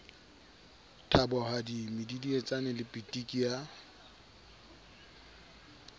thabohadi medidietsane le pitiki ya